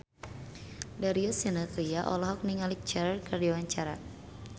Darius Sinathrya olohok ningali Cher keur diwawancara